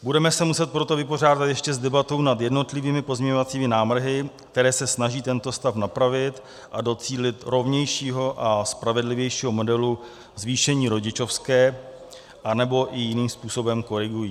Budeme se muset proto vypořádat ještě s debatou nad jednotlivými pozměňovacími návrhy, které se snaží tento stav napravit a docílit rovnějšímu a spravedlivějšího modelu zvýšení rodičovské, anebo i jiným způsobem korigují.